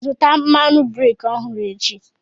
Zụta mmadụ breki ọhụrụ echi!